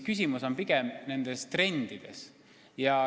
Küsimus on eelkõige trendides.